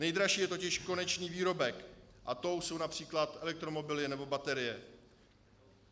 Nejdražší je totiž konečný výrobek a tím jsou například elektromobily nebo baterie.